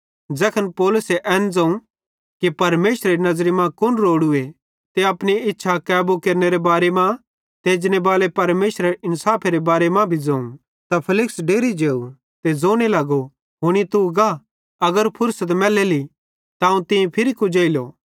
ज़ैखन पौलुस एन ज़ोवं कि परमेशरेरी नज़री मां कुन रोड़ूए ते अपने इच्छा कैबू केरनेरे बारे मां ते एजनेबाले परमेशरेरे इन्साफेरे बारे मां भी ज़ोवं त फेलिक्स डेरि जेव ते ज़ोने लगो हुनी तू गा अगर फुर्सत मैलेली त अवं तीं फिरी तीं कुजेइलो